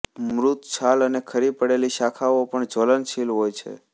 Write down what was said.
મૃત છાલ અને ખરી પડેલી શાખાઓ પણ જ્વલનશીલ હોય છે